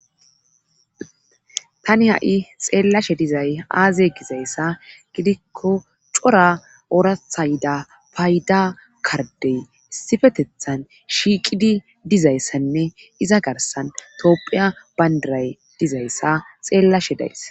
tani ha7i xeellashe dizay aaze gizayssa gidikko cora ooratha yida payda kardey issifetethan shiiqidi dizayssanne iza garsan toophiya bandiray dizayssa xeellashe days.